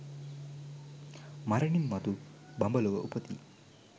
මරණින් මතු බඹලොව උපදියි.